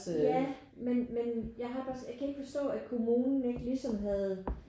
Ja men jeg har det også jeg kan ikke forstå at kommunen ikke ligesom havde